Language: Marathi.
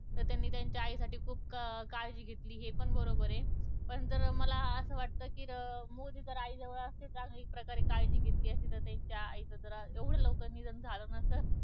तर त्यांनी त्यांच्या आई साठी खुप अं काळजी घेतली हे पण बरोबर ये पण जर अं मला असं वाटत कि अं मोदी आई जवळ असते तर चांगली एक प्रकारे काळजी घेतली असती तर त्यांच्या आई च एवढं लवकर निधन झालं नसत